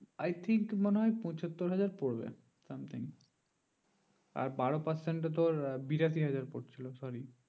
i think মনে হয় পচ্চাতো হাজার পড়বে something আর বারো percent তোর বিরাশি হাজার পড়ছিলো sorry